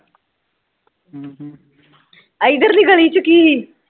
ਇਧਰ ਲੀ ਗਲੀ ਚ ਕੀ ਸੀ